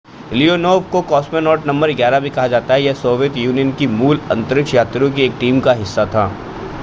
Leonov को cosmonaut नं 11 भी कहा जाता है यह सोवियत यूनियन की मूल अंतरिक्ष यात्रियों की टीम का एक हिस्सा था